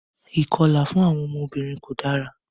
Ìkọlà fún àwọn obìnrin ko dara.